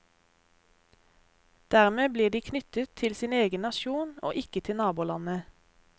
Dermed blir de knyttet til sin egen nasjon og ikke til nabolandet.